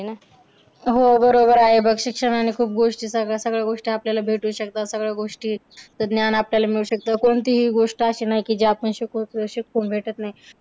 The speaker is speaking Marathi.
हो बरोबर आहे बघ. शिक्षणाने खूप गोष्टी सगळ्या गोष्टी आपल्याला भेटू शकतात. सगळ्या गोष्टीचं ज्ञान आपल्याला मिळू शकतं. कोणतीही गोष्ट अशी नाही की जीआपण शिकू की शिकून भेटत नाही.